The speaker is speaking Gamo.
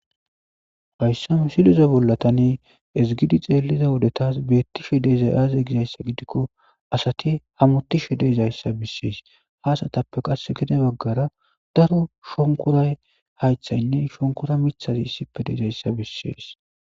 Hayssa misiloza bollatani ezigidi xeelliza wodetas beettishe deezay aaze gizayssa gidikko asati hamotishe deezayssa bissees haasatappe qas gide baggara daro shonkoray haythaynne shonkora mithazi issipe deezayssa bissees